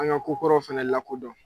An ka ko kɔrɔw fɛnɛ lakodɔn.